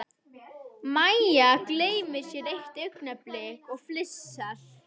Mæja gleymir sér eitt augnablik og flissar.